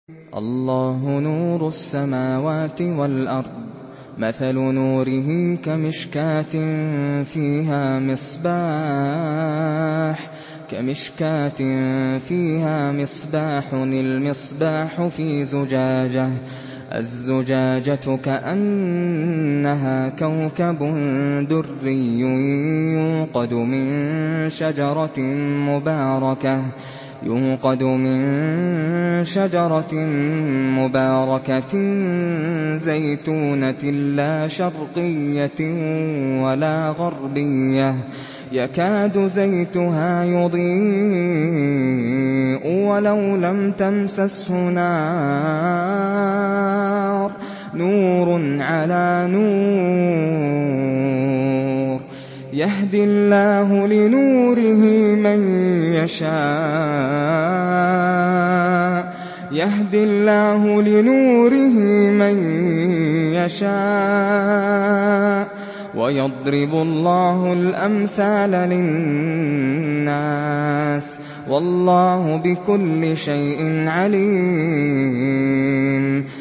۞ اللَّهُ نُورُ السَّمَاوَاتِ وَالْأَرْضِ ۚ مَثَلُ نُورِهِ كَمِشْكَاةٍ فِيهَا مِصْبَاحٌ ۖ الْمِصْبَاحُ فِي زُجَاجَةٍ ۖ الزُّجَاجَةُ كَأَنَّهَا كَوْكَبٌ دُرِّيٌّ يُوقَدُ مِن شَجَرَةٍ مُّبَارَكَةٍ زَيْتُونَةٍ لَّا شَرْقِيَّةٍ وَلَا غَرْبِيَّةٍ يَكَادُ زَيْتُهَا يُضِيءُ وَلَوْ لَمْ تَمْسَسْهُ نَارٌ ۚ نُّورٌ عَلَىٰ نُورٍ ۗ يَهْدِي اللَّهُ لِنُورِهِ مَن يَشَاءُ ۚ وَيَضْرِبُ اللَّهُ الْأَمْثَالَ لِلنَّاسِ ۗ وَاللَّهُ بِكُلِّ شَيْءٍ عَلِيمٌ